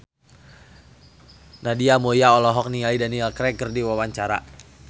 Nadia Mulya olohok ningali Daniel Craig keur diwawancara